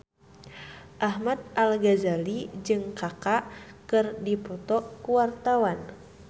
Ahmad Al-Ghazali jeung Kaka keur dipoto ku wartawan